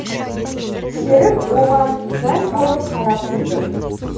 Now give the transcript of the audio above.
серік оған мәз болып қарап тұрды